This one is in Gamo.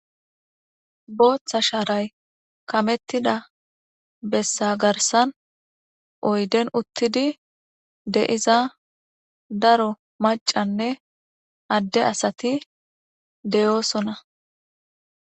booththa shaaray kamettida bessa garsan oyden uttidi de'iza daro macanne adde asati deyoosona